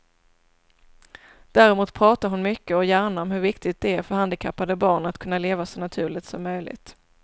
Däremot pratar hon mycket och gärna om hur viktigt det är för handikappade barn att kunna leva så naturligt som möjligt.